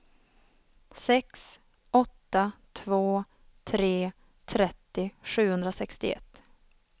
sex åtta två tre trettio sjuhundrasextioett